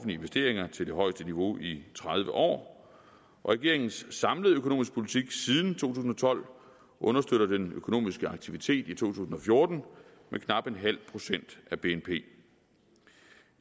investeringer til det højeste niveau i tredive år og regeringens samlede økonomiske politik siden to tusind og tolv understøtter den økonomiske aktivitet i to tusind og fjorten med knap en halv procent af bnp